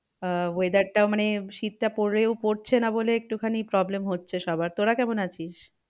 আহ weather টা মানে শীতটা পরেও পড়ছে না বলে একটু খানি problem হচ্ছে সবার। তোরা কেমন আছিস?